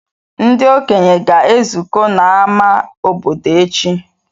Ndị okenye ga-ezukọ n’ámá obodo echi.